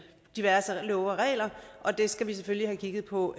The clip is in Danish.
diverse love og regler og det skal vi selvfølgelig have kigget på